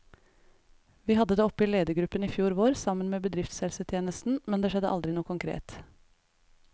Vi hadde det oppe i ledergruppen i fjor vår, sammen med bedriftshelsetjenesten, men det skjedde aldri noe konkret.